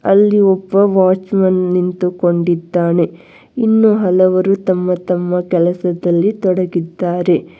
ಅಲ್ಲಿ ಒಬ್ಬ watchman ನಿಂತುಕೊಂಡಿದ್ದಾನೆ ಇನ್ನು ಹಲವರು ತಮ್ಮ ತಮ್ಮ ಕೆಲಸದಲ್ಲಿ ತೊಡಗಿದ್ದಾರೆ.